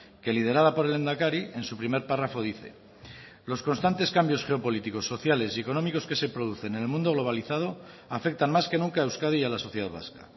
que liderada por el lehendakari en su primer párrafo dice los constantes cambios geopolíticos sociales y económicos que se producen en el mundo globalizado afectan más que nunca a euskadi y a la sociedad vasca